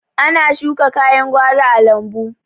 Ana shuka kayan gwari a lambu